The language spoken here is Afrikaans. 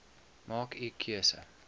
maak u keuse